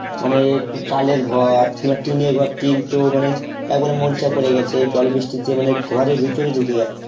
মানে এই চালের ঘর বা টিনের ঘর টিন তো মানে একবারে মোর্চা পড়ে গেছে জল বৃষ্টিতে মানে ঘরের ভিতরে ঢুকে যাচ্ছে